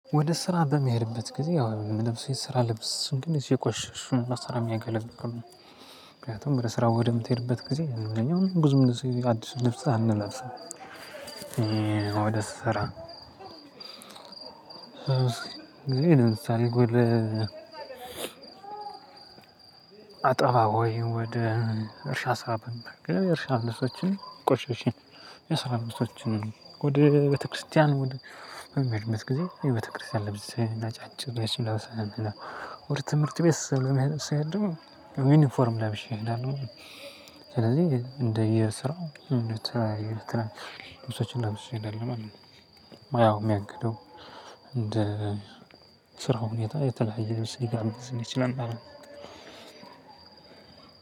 ወደ ስራ በሚሄድበት ጊዜ ያው ምለብሰው የስራ ልብስ ሲሆን ግን እዚሁ የቆሸሹ እሱን ለስራ የሚያገለግሉ ምክንያቱም ወደ ስራ ወደምትሄድበት ጊዜ እኛ አሁን ብዙም ጊዜ አዲሱን ልብስ አንለብስም ወደ ስራ እንግዲህ ለምሳሌ ወደ አጠባ ወይም ወደ እርሻ ሰዓት አለቀ የእርሻ ልሶችን ቆሸሽን የስራ ልብሶችን ወደ ቤተክርስትያን ወደ በምሄድበት ጊዜ የቤተክርስቲያን ልብሴን ነጫጭ ነገሮች እለብሳለሁ። ወደ ትምህርት ቤት ለመሄድ ስሄድ ደግሞ ዩኒፎርም ለብሼ እሄዳለሁ ሁሌ። ስለዚህ እንደየስራው የተለያዩትን ልብሶችን ለብሼ እሄዳለሁ ማለት ነው። ሞያው ሚያግደው እንደ ስራው ሁኔታ የተለያየ ልብስ ሊጋብዘን ይችላል ማለት ነው።